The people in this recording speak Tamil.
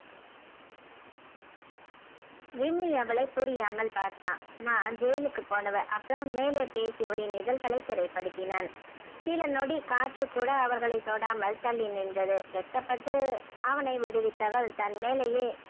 விம்மி அவளை புரியாமல் பார்த்தான் நான் ஜெயிலுக்கு போன அப்பறம் மேலே பேசி அவள்களின் இதலகளை சிறைபடுத்தினான் சில நொடி காற்று கூட அவர்களை தொடாமல் தள்ளி நின்றது வெட்கப்பட்டு அவனை விடிவித்தவல் தன்மேலையே